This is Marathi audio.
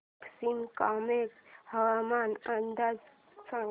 पश्चिम कामेंग हवामान अंदाज सांगा